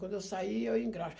Quando eu sair, eu engraxo.